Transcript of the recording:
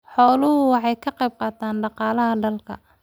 Xooluhu waxay ka qayb qaataan dhaqaalaha dalka.